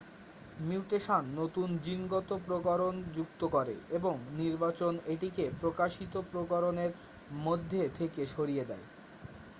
mutation নতুন জিনগত প্রকরণ যুক্ত করে এবং নির্বাচন এটিকে প্রকাশিত প্রকরণের মধ্যে থেকে সরিয়ে দেয়